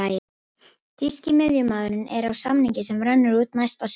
Þýski miðjumaðurinn er á samning sem rennur út næsta sumar.